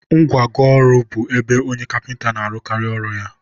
ngwago ọrụ bụ ebe onye kapịnta na-arụkarị ọrụ ya.